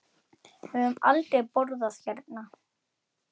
Við höfum aldrei borðað hérna.